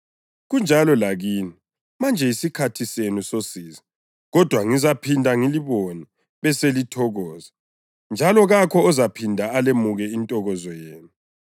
Kunjalo lakini: Manje yisikhathi senu sosizi, kodwa ngizaphinda ngilibone beselithokoza, njalo kakho ozaphinda alemuke intokozo yenu.